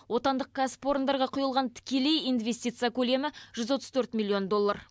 отандық кәсіпорындарға құйылған тікелей инвестиция көлемі жүз отыз төрт миллион доллар